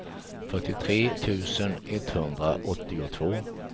fyrtiotre tusen etthundraåttiotvå